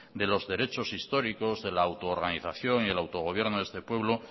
de los derechos históricos del autoorganización y el autogobierno de este pueblo